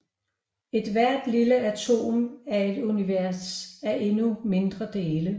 Ethvert lille atom er et univers af endnu mindre dele